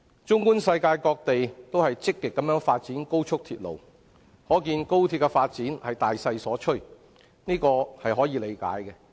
綜觀世界，各地均積極發展高速鐵路，可見是大勢所趨，這是可以理解的。